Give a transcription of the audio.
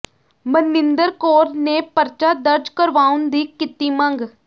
ਮਨਿੰਦਰ ਕੌਰ ਨੇ ਪਰਚਾ ਦਰਜ ਕਰਵਾਉਣ ਦੀ ਕੀਤੀ ਮੰਗ